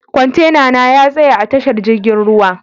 Kwantena na ya tsaya a tashar jirgin ruwa.